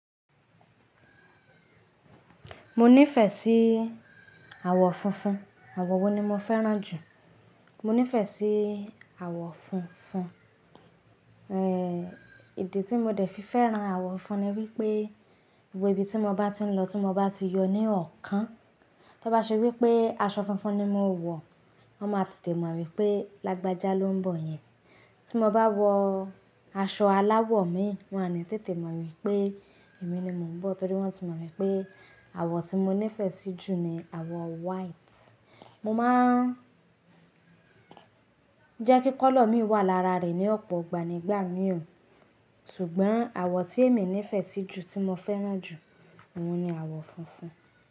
Mo nífẹ̀ẹ́ sí àwọ̀ funfun. Àwọ̀ wo ni mo fẹ́ràn jù? Mo nífẹ̀ẹ́ sí àwọ̀ funfun. Èdè tí mo dẹ̀ fi fẹ́ràn àwọ̀ funfun ni wípé, ibo ibi tí mo bá ti ń lọ tí mo bá ti yọ ní ọ̀kan, tí ó bá ṣe wípé aṣọ funfun ni mo ń wọ, wọn máa tètè mọ̀ wípé lágbájá ló ń bọ̀ yẹn. Tí mo bá wọ aṣọ aláwọ̀ mi, wọn oni tètè mọ̀ wípé èmi ni mo ń bọ̀ torí wọ́n ti mọ̀ wípé àwọ̀ tí mo nífẹ̀ẹ́ sí jù ni àwọ̀ white. Mo máa ń jẹ́ kí kọ́lọ̀ mi wà lára rẹ̀ ní ọ̀pọ̀ ìgbà nígbà mìíràn. Ṣùgbọ́n àwọ̀ tí èmi nífẹ̀ẹ́ sí jù, tí mo fẹ́ràn jù, òun ni àwọ̀ funfun.